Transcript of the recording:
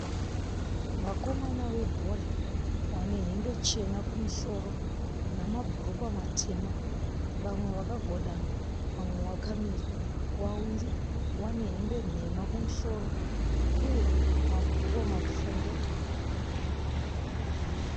Vakomana vebhora, vane hembe chena kumusoro namabhurukwa matema, vamwe vakagwadama, vamwe vakamira. Wawiri vane hembe nhema kumusoro uye mabhurukwa mapfumbu.